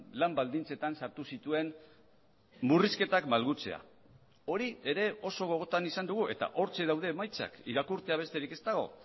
lan baldintzetan sartu zituen murrizketak malgutzea hori ere oso gogotan izan dugu eta hortxe daude emaitzak irakurtzea besterik ez dago